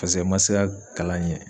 Paseke n man se ka kalan ɲɛ.